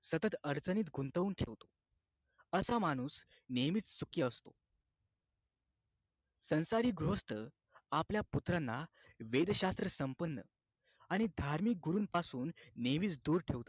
सतत अडचणीत गुंतवून ठेवतो असा माणूस नेहमीच सुखी असतो संस्कारी गृहस्थ आपल्या पुत्रांना वेदशास्त्र संपन्न आणि धार्मिक गुरूंपासून नेहमी दूर ठेवतो